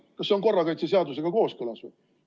Kas see on korrakaitse seadusega kooskõlas või?